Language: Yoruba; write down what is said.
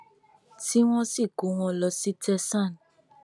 tí wọn sì kó wọn lọ sí tẹsán